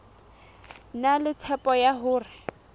na le tshepo ya hore